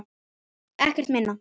Ekkert minna!